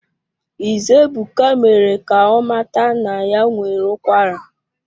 Ize Ebuka mere ka ọ mata na ya nwere ụkwara